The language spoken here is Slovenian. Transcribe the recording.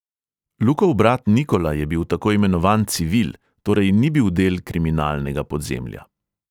Lukov brat nikola je bil tako imenovan civil – torej ni bil del kriminalnega podzemlja.